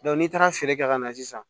n'i taara feere kɛ ka na sisan